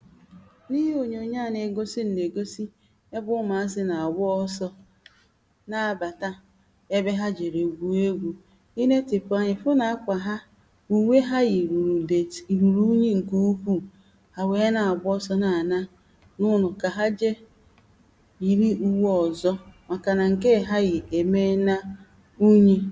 ihe dị n’ime ònyònyo a bụ̀ ọkà n’ime ọka a dị n’ime ònyònyo ọ̀ nwèe ndị dị mmiri̇ ǹke dị mmiri̇ ị yè si yȧ èsị taa yȧ ǹke kpọrọ ǹkụ̀ ị yè chekwa yȧ wèe nye mee àkàmụ̀ mà ọ̀ i wère yȧ wèe sèè nri̇ na-èrìnya n’ofe